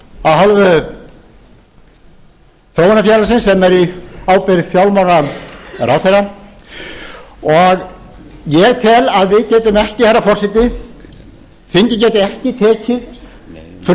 og annað af hálfu þróunarfélagsins sem er á ábyrgð fjármálaráðherra og ég tel að við getum ekki herra forseti þingið geti ekki tekið frumvarp til